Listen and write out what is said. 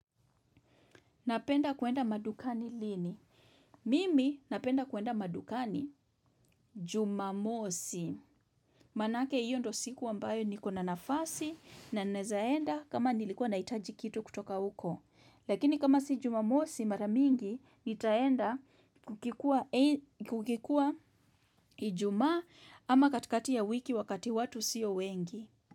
Napenda kuenda madukani lini. Mimi napenda kuenda madukani jumamosi. Manake hiyo ndo siku ambayo nikona nafasi na naeza enda kama nilikuwa naitaji kitu kutoka uko. Lakini kama si jumamosi maramingi nitaenda kukikuwa ijumaa ama katikati ya wiki wakati watu sio wengi.